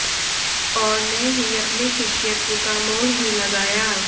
और न ही अपने शिष्यत्व का मोल ही लगाया